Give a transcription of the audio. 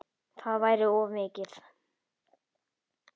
Það væri of mikið.